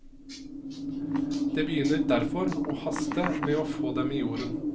Det begynner derfor å haste med å få dem i jorden.